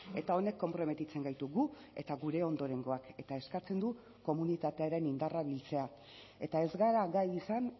eta honek konprometitzen gaitu gu eta gure ondorengoak eta eskatzen du komunitatearen indarra biltzea eta ez gara gai izan